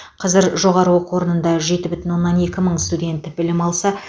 қазір жоғары оқу орнында жеті бүтін оннан екі мың студент білім алса